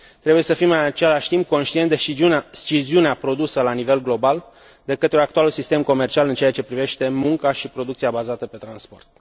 Trebuie să fim în același timp conștienți de sciziunea produsă la nivel global de către actualul sistem comercial în ceea ce privește munca și producția bazată pe transport.